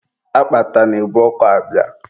Akpata na-ebu ọkọ abịa.